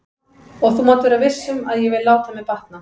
Og þú mátt vera viss um að ég vil láta mér batna.